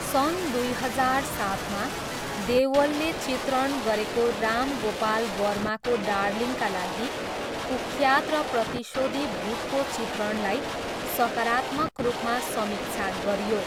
सन् दुई हजार सातमा, देवलले चित्रण गरेको राम गोपाल वर्माको डार्लिङ्गका लागि कुख्यात र प्रतिशोधी भूतको चित्रणलाई सकारात्मक रूपमा समीक्षा गरियो।